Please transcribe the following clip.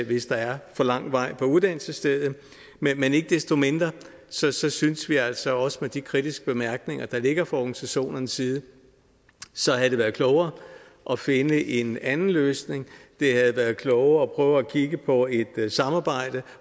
hvis der er for lang vej til uddannelsesstedet men ikke desto mindre synes synes vi altså også at med de kritiske bemærkninger der ligger fra organisationernes side så havde det været klogere at finde en anden løsning det havde været klogere at kigge på et samarbejde